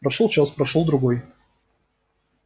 прошёл час прошёл другой